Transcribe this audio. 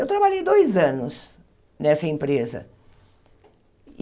Eu trabalhei dois anos nessa empresa.